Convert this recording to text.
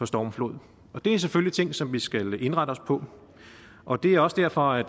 stormflod det er selvfølgelig ting som vi skal indrette os på og det er også derfor at